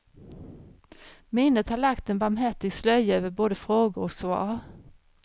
Minnet har lagt en barmhärtig slöja över både frågor och svar.